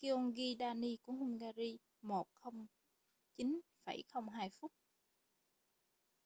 gyöngyi dani của hungary 1:09,02 phút